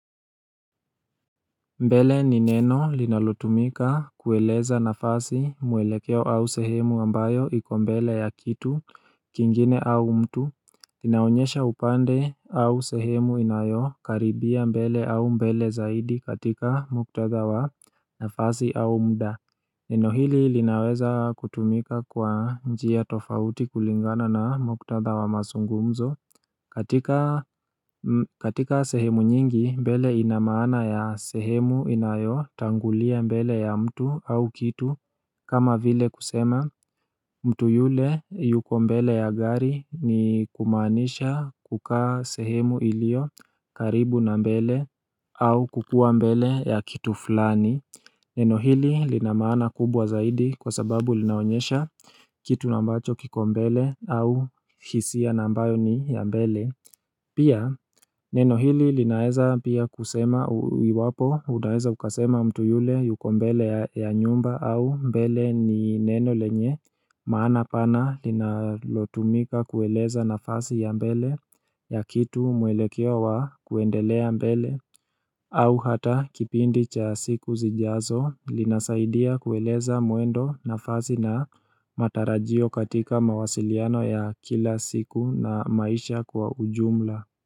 Mbele ni neno linalotumika kueleza nafasi mwelekeo au sehemu ambayo iko mbele ya kitu kingine au mtu. Inaonyesha upande au sehemu inayo karibia mbele au mbele zaidi katika muktadha wa nafasi au muda. Neno hili linaweza kutumika kwa njia tofauti kulingana na mktadha wa mazungumzo katika sehemu nyingi mbele ina maana ya sehemu inayotangulia mbele ya mtu au kitu kama vile kusema mtu yule yuko mbele ya gari ni kumaanisha kukaa sehemu iliyo karibu na mbele au kukuwa mbele ya kitu fulani Neno hili lina maana kubwa zaidi kwa sababu linaonyesha kitu na ambacho kiko mbele au hisia na ambayo ni ya mbele Pia neno hili linaweza pia kusema iwapo, unaweza ukasema mtu yule yuko mbele ya nyumba au mbele ni neno lenye Maana pana linalotumika kueleza nafasi ya mbele ya kitu mwelekewa wa kuendelea mbele au hata kipindi cha siku zijazo linasaidia kueleza mwendo nafasi na matarajio katika mawasiliano ya kila siku na maisha kwa ujumla.